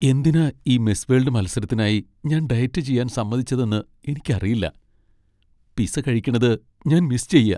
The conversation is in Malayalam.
എന്തിനാ ഈ മിസ് വേൾഡ് മത്സരത്തിനായി ഞാൻ ഡയറ്റ് ചെയ്യാൻ സമ്മതിച്ചതെന്ന് എനിക്കറിയില്ല. പിസ്സ കഴിക്കണത് ഞാൻ മിസ്സ് ചെയ്യാ .